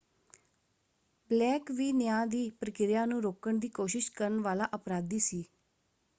Blake ਵੀ ਨਿਆਂ ਦੀ ਪ੍ਰਕਿਰਿਆ ਨੂੰ ਰੋਕਣ ਦੀ ਕੋਸ਼ਿਸ਼ ਕਰਨ ਵਾਲਾ ਅਪਰਾਧੀ ਸੀ।